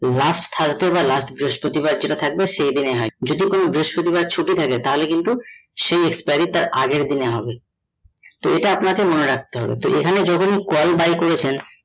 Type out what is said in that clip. last Thursday বা last বৃহষ্পতিবার যেটা থাকবে সেই দিনে হয়ে যদি বেস্পতিবার ছুটি থাকে তাহলে কিন্তু সেই expiry তার আগের দিনে হবে তো এটা আপনাকে মনে রাখতে হবে যেখানে call buy করেছেন